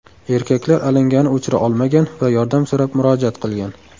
Erkaklar alangani o‘chira olmagan va yordam so‘rab murojaat qilgan.